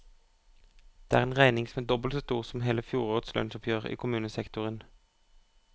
Det er en regning som er dobbelt så stor som hele fjorårets lønnsoppgjør i kommunesektoren.